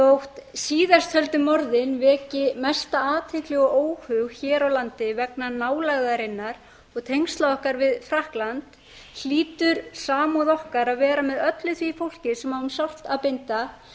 þótt síðasttöldu morðin veki mesta athygli og óhug hér á landi vegna nálægðarinnar og tengsla okkar við frakkland hlýtur samúð okkar að vera með öllu því fólki sem á um sárt að binda